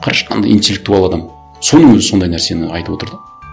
қарашы қандай интеллектуал адам соның өзі сондай нәрсені айтып отыр да